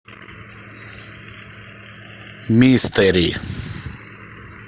мистери